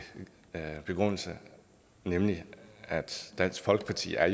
begrundelse nemlig at dansk folkeparti er